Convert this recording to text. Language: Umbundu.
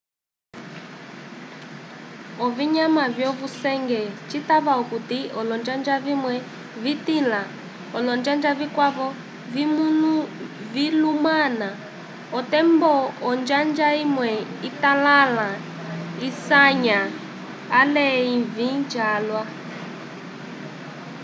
ovinyama vyovusenge citava okuti olonjanja vimwe vitila olonjanja vikwavo vilumana otembo onjanja imwe italala isanya ale ivĩ calwa